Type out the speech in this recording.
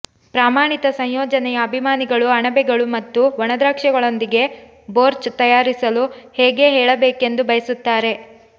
ಪ್ರಮಾಣಿತ ಸಂಯೋಜನೆಯ ಅಭಿಮಾನಿಗಳು ಅಣಬೆಗಳು ಮತ್ತು ಒಣದ್ರಾಕ್ಷಿಗಳೊಂದಿಗೆ ಬೋರ್ಚ್ ತಯಾರಿಸಲು ಹೇಗೆ ಹೇಳಬೇಕೆಂದು ಬಯಸುತ್ತಾರೆ